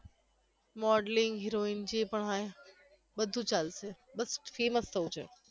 modelling heroine જે પણ હોઈ એ બધુ ચાલશે બસ famous થવુ છે